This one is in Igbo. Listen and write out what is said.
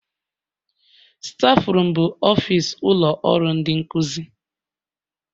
Stafurum bụ ofis ụlọ ọrụ ndị nkuzi.